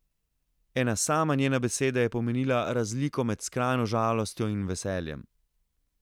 Ena sama njena beseda je pomenila razliko med skrajno žalostjo in veseljem.